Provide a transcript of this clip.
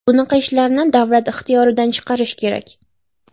Bunaqa ishlarni davlat ixtiyoridan chiqarish kerak.